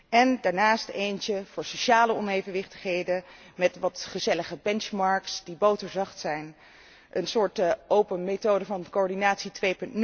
En daarnaast eentje voor sociale onevenwichtigheden met wat gezellige benchmarks die boterzacht zijn, een soort 'open methode van coördinatie